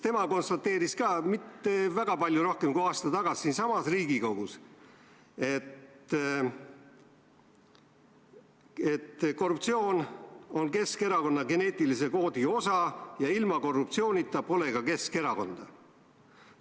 Tema konstateeris mitte väga palju rohkem kui aasta tagasi siinsamas Riigikogus, et korruptsioon on Keskerakonna geneetilise koodi osa ja ilma korruptsioonita pole ka Keskerakonda.